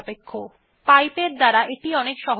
আমরা এটি অনেক সহজেই পাইপ ব্যবহার করে কাজটি করতে পারি